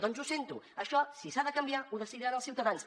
doncs ho sento això si s’ha de canviar ho decidiran els ciutadans